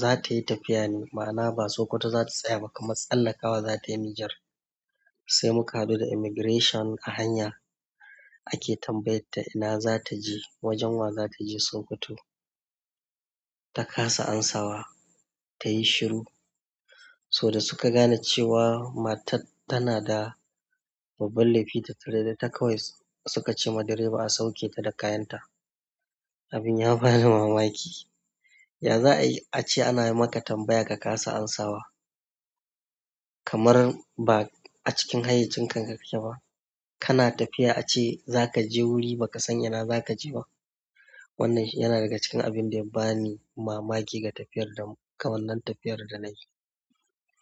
zatayi tafiya ne ma'ana ba sokoto zata tsaya ba amma tsallakawa zatayi niger. Sai muka haɗu da immigration a hanya, ake tambayar ta ina za ta je? Wajen wa za ta je Sokoto? Ta kasa amsawa, ta yi shiru. So da suka gane cewa matar tana da babban laifi tattare da ita kawai suka ce ma direba a sauke ta da kayan ta. Abin ya bani mamaki. Ya za a yi? A ce ana yi maka tambaya ka kasa amsawa. Kamar ba a cikin hayyacinka kake ba. Kana tafiya a ce za ka je wuri ba ka san ina za ka je ba. Wannan shi yana daga cikin abin da ya bani mamaki ga tafiyar da, kamannan tafiyar da nayi.